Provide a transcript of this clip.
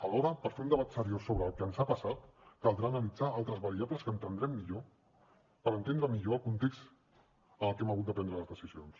alhora per fer un debat seriós sobre el que ens ha passat caldrà analitzar altres variables per entendre millor el context en el que hem hagut de prendre les decisions